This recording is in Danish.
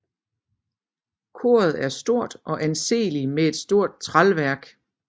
Koret er stort og anseeligt med et stort tralværk